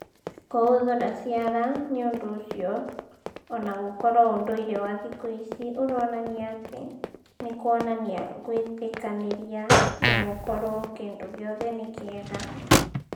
Kũhũthũra ciara nĩũndũ ũcio ona gũkorwo ũndũire wa thikũ ici ũronania atĩ nĩ kuonanania gwĩtĩkanĩria na gũkorwo kĩndu gĩothe nĩ kĩega